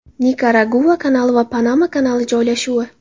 Nikaragua kanali va Panama kanali joylashuvi.